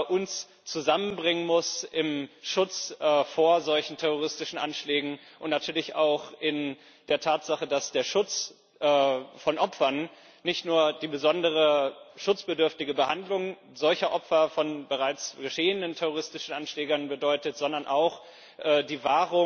uns zusammenbringen muss im Schutz vor solchen terroristischen Anschlägen und natürlich auch in der Tatsache, dass der Schutz von Opfern nicht nur die besondere schutzbedürftige Behandlung solcher Opfer von bereits geschehenen terroristischen Anschlägen bedeutet, sondern auch die